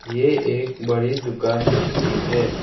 ये एक बड़ी दुकान लगती है।